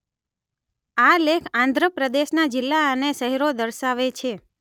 આ લેખ આંધ્રપ્રદેશના જિલ્લા અને શહેરો દર્શાવે છે